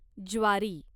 ज्वारी